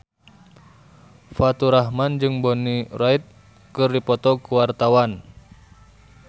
Faturrahman jeung Bonnie Wright keur dipoto ku wartawan